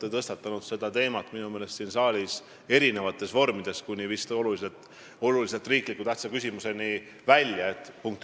Te olete seda teemat minu meelest siin saalis tõstatanud eri vormides, kuni vist olulise tähtsusega riikliku küsimuse aruteluni välja.